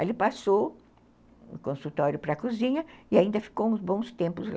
Aí ele passou o consultório para a cozinha e ainda ficou uns bons tempos lá.